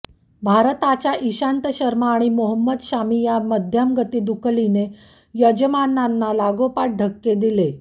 भारताच्या इशांत शर्मा आणि मोहम्मद शामी या मध्यमगती दुकलीने यजमानांना लागोपाठ धक्के दिले